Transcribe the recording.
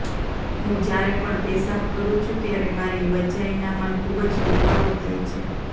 હું જ્યારે પણ પેશાબ કરું છું ત્યારે મારી વજાઈનામાં ખૂબ જ દુખાવો થાય છે